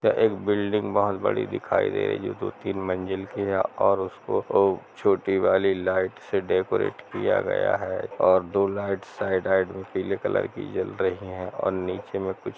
एक बिल्डिग हैबड़ी दिखय दे रही है जो दो तीन मंजिल की है और उसको छोटी वाली लाइट से डेकोरेट किया गया है और दो लाइट साइड पीले कलर की जल रही है। और नीचे में कुछ--